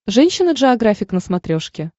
женщина джеографик на смотрешке